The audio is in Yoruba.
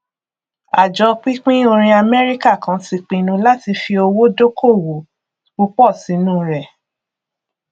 àjọ pínpín orin amẹríkà kan ti pinnu láti fi owó dókòwò púpọ sínú rẹ